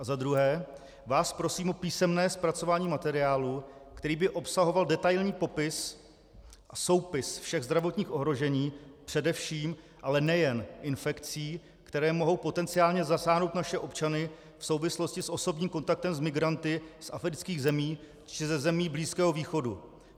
A za druhé vás prosím o písemné zpracování materiálu, který by obsahoval detailní popis a soupis všech zdravotních ohrožení, především, ale nejen infekcí, které mohou potenciálně zasáhnout naše občany v souvislosti s osobním kontaktem s migranty z afrických zemí či ze zemí Blízkého východu.